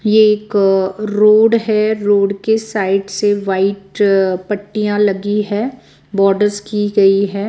ये एक रोड है रोड के साइड से व्हाइट पट्टियां लगी है बॉर्डर्स की गई है।